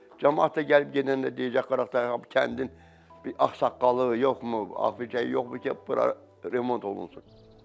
Camaat da gəlib gedəndə deyəcəkdi ki, bu kəndin bir ağsaqqalı yoxmu, aficə yoxmu ki, bura remont olunsun.